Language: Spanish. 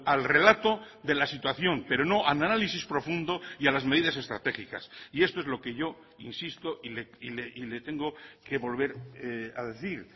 al relato de la situación pero no al análisis profundo y a las medidas estratégicas y esto es lo que yo insisto y le tengo que volver a decir